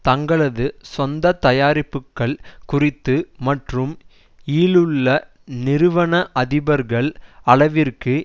தங்களது சொந்த தயாரிப்புக்கள் குறித்து மற்றும் இலுள்ள நிறுவன அதிபர்கள் அளவிற்கு